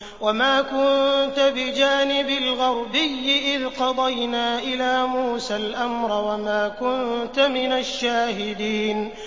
وَمَا كُنتَ بِجَانِبِ الْغَرْبِيِّ إِذْ قَضَيْنَا إِلَىٰ مُوسَى الْأَمْرَ وَمَا كُنتَ مِنَ الشَّاهِدِينَ